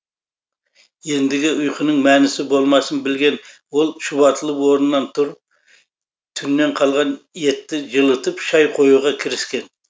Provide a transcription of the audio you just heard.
ендігі ұйқының мәнісі болмасын білген ол шұбатылып орнынан тұрып түннен қалған етті жылытып шай қоюға кіріскен